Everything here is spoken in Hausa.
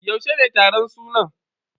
Yaushe ne taron sunan?